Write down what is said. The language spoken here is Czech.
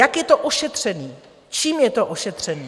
Jak je to ošetřeno, čím je to ošetřeno?